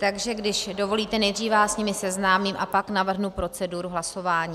Takže když dovolíte, nejdřív vás s nimi seznámím a pak navrhnu proceduru hlasování.